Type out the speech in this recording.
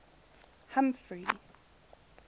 humphrey